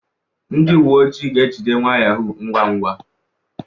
Ndị uwe ojii ga-ejide nwa yahoo ngwa ngwa